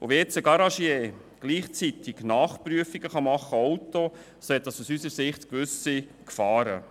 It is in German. Wenn ein Garagist gleichzeitig Nachprüfungen an Fahrzeugen durchführen kann, beinhaltet das aus unserer Sicht gewisse Gefahren.